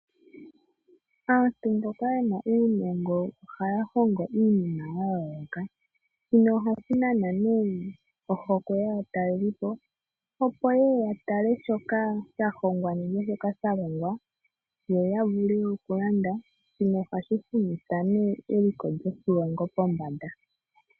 Aantu mboka yena uunongo ohaya hongo iinima yayooloka nohashi nana ohokwe yaatalelipo, opo yeye yatale shoka shahongwa nenge shoka shalongwa yoya vule okulanda. shino ohashi humitha eliko lyoshilongo pombanda.